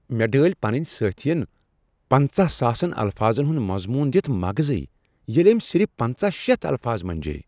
مےٚ ڈٲلۍ پنٛنہ سٲتھین پانژہ ساسن الفاظن ہنٛد مضمون دتھ مغٕزٕے ییٚلہ أمۍ صرف پٕنژہٕ شیتھ الفاظ منجییہِ